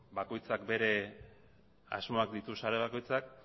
bakoitzak bere asmoak ditu sare bakoitzak